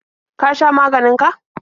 Ka sha maganin ka?